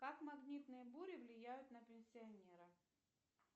как магнитные бури влияют на пенсионера